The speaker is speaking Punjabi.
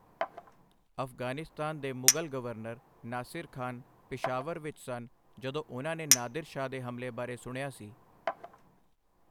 ਅਫ਼ਗ਼ਾਨਿਸਤਾਨ ਦੇ ਮੁਗ਼ਲ ਗਵਰਨਰ ਨਾਸਿਰ ਖ਼ਾਨ ਪਿਸ਼ਾਵਰ ਵਿੱਚ ਸਨ ਜਦੋਂ ਉਹਨਾਂ ਨੇ ਨਾਦਿਰ ਸ਼ਾਹ ਦੇ ਹਮਲੇ ਬਾਰੇ ਸੁਣਿਆ ਸੀ।